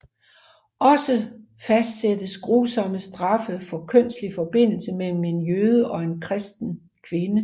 Også fastsattes grusomme straffe for kønslig forbindelse mellem en jøde og en kristen kvinde